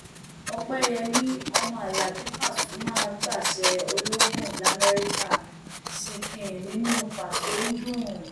ọpẹyẹmi ọmọ alábi pasuma gbaṣẹ ológun lamẹríkà ṣìnkìn nínú pàso ń dùn